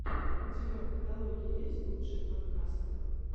у тебя в каталоге есть лучшие подкасты